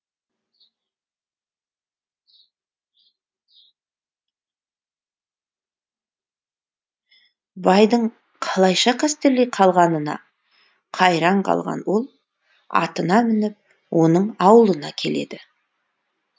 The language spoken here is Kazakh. байдың қалайша қастерлей қалғанына қайран қалған ол атына мініп оның аулына келеді